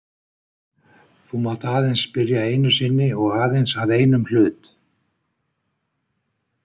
Þú mátt aðeins spyrja einu sinni og aðeins að einum hlut.